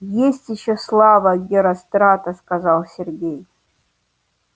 есть ещё слава герострата сказал сергей